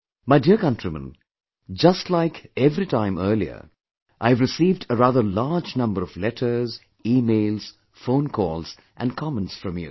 My dear countrymen, just like every time earlier, I have received a rather large number of letters, e mails, phone calls and comments from you